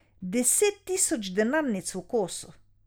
Deset tisoč denarnic v kosu.